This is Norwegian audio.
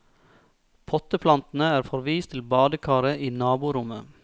Potteplantene er forvist til badekaret i naborommet.